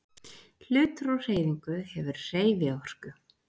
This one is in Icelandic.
Hlutur á hreyfingu hefur hreyfiorku.